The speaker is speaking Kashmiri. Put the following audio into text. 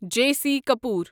J C Kapoor